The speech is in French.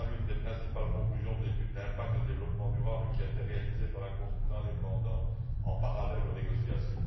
C'est là l'une des principales conclusions de l'étude d'impact et de développement durable qui a été réalisée par un consultant indépendant, en parallèle aux négociations.